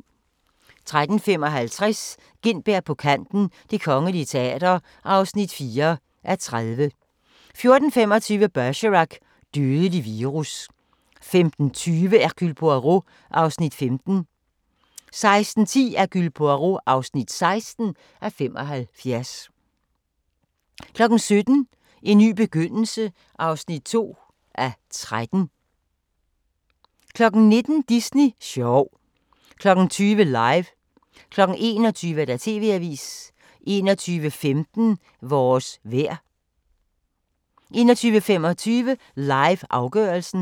13:55: Gintberg på kanten - Det Kongelige Teater (4:30) 14:25: Bergerac: Dødelig virus 15:20: Hercule Poirot (15:75) 16:10: Hercule Poirot (16:75) 17:00: En ny begyndelse (2:13) 19:00: Disney sjov 20:00: LIVE 21:00: TV-avisen 21:15: Vores vejr 21:25: LIVE – afgørelsen